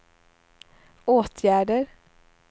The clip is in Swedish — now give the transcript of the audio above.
åtgärder